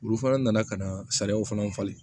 Olu fana nana ka na sariyaw fana falen